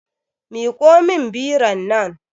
Miƙo min biron nan